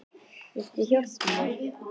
Viltu hjálpa mér?